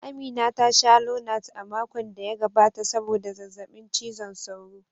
Amina ta sha Lonat a makon da ya gabata sabodda zazzabin cizon sauro.